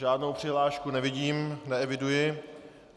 Žádnou přihlášku nevidím, neeviduji.